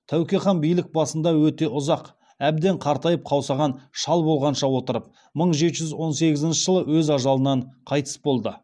тәуке хан билік басында өте ұзақ әбден қартайып қаусаған шал болғанша отырып мың жеті жүз он сегізінші жылы өз ажалынан қайтыс болды